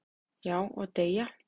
"""Já, og deyja"""